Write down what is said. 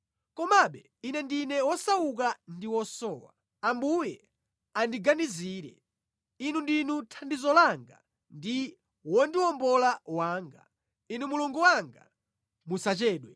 Komabe Ine ndine wosauka ndi wosowa; Ambuye andiganizire. Inu ndinu thandizo langa ndi wondiwombola wanga; Inu Mulungu wanga, musachedwe.